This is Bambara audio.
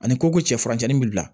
Ani ko ko cɛ furancɛ nin bi bila